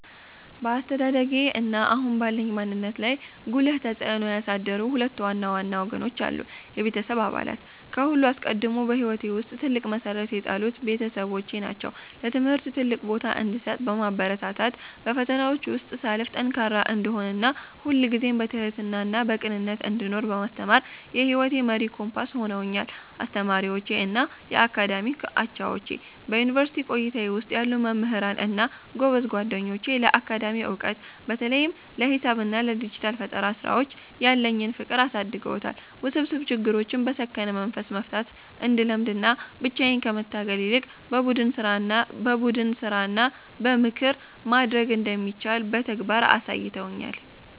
በአስተዳደጌ እና አሁን ባለኝ ማንነት ላይ ጉልህ ተጽዕኖ ያሳደሩ ሁለት ዋና ዋና ወገኖች አሉ፦ የቤተሰቤ አባላት፦ ከሁሉ አስቀድሞ በሕይወቴ ውስጥ ትልቅ መሠረት የጣሉት ቤተሰቦቼ ናቸው። ለትምህርት ትልቅ ቦታ እንድሰጥ በማበረታታት፣ በፈተናዎች ውስጥ ሳልፍ ጠንካራ እንድሆን እና ሁልጊዜም በትሕትናና በቅንነት እንድኖር በማስተማር የሕይወቴ መሪ ኮምፓስ ሆነውኛል። አስተማሪዎቼ እና የአካዳሚክ አቻዎቼ፦ በዩኒቨርሲቲ ቆይታዬ ውስጥ ያሉ መምህራን እና ጎበዝ ጓደኞቼ ለአካዳሚክ ዕውቀት (በተለይም ለሂሳብ እና ለዲጂታል ፈጠራ ሥራዎች) ያለኝን ፍቅር አሳድገውታል። ውስብስብ ችግሮችን በሰከነ መንፈስ መፍታት እንድለምድ እና ብቻዬን ከመታገል ይልቅ በቡድን ሥራና በምክር ማደግ እንደሚቻል በተግባር አሳይተውኛል።